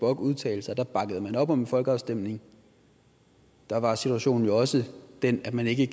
bock udtalte sig bakkede man op om en folkeafstemning da var situationen jo også den at man ikke